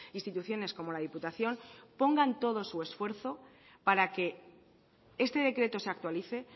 instituciones como la diputación pongan todo su esfuerzo para que este decreto se actualice